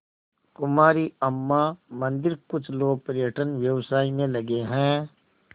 कुमारी अम्मा मंदिरकुछ लोग पर्यटन व्यवसाय में लगे हैं